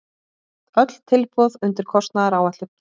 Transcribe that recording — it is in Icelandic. Öll tilboð undir kostnaðaráætlun